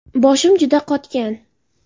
Boshim juda qotgan.